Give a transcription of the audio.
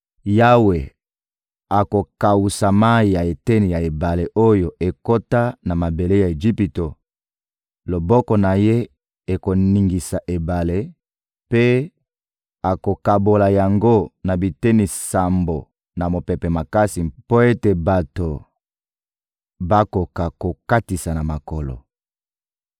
Yawe akokawusa mayi ya eteni ya ebale oyo ekota na mabele ya Ejipito; loboko na Ye ekoningisa ebale mpe akokabola yango na biteni sambo na mopepe makasi mpo ete bato bakoka kokatisa na makolo.